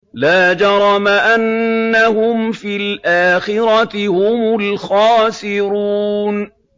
لَا جَرَمَ أَنَّهُمْ فِي الْآخِرَةِ هُمُ الْخَاسِرُونَ